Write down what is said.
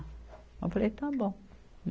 Eu falei, está bom.